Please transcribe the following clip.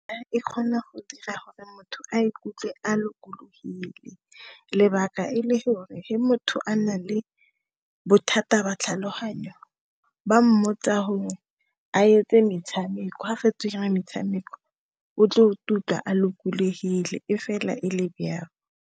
E kgona go dira gore motho a ikutlwe a lokologile, lebaka e le gore, ge motho a na le bothata ba tlhaloganyo ba mmotsa gore a etse metshameko, ga fetso ira metshameko o tlo kutlwa a lokologile, e fela e le byao.